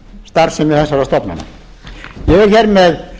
starfsemi þessara stofnana ég er hér með